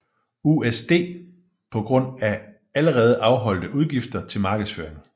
USD på grund af allerede afholdte udgifter til markedsføring